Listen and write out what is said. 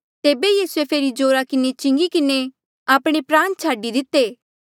तेबे यीसूए फेरी जोरा किन्हें चिंगी किन्हें आपणे प्राण छाडी दिते